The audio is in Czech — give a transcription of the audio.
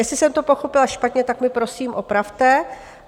Jestli jsem to pochopila špatně, tak mě prosím opravte.